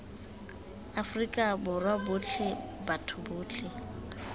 afrika borwa botlhe batho botlhe